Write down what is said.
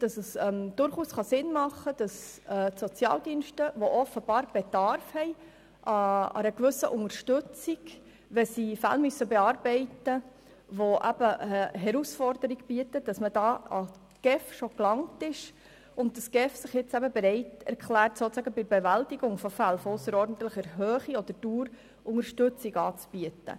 So kann es durchaus Sinn machen, dass die GEF sich nun bereit erklärt, bei der Bewältigung von Fällen von ausserordentlicher Höhe oder Dauer den Sozialdiensten Unterstützung anzubieten, welche offenbar bereits im Rahmen der Bearbeitung herausfordernder Fälle an die GEF gelangt sind,.